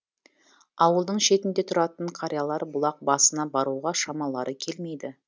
ауылдың шетінде тұратын қариялар бұлақ басына баруға шамалары келмейді